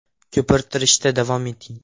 Ko‘pirtirishda davom eting.